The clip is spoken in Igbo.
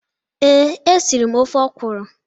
Ee, e siri m ofe okwụrụ.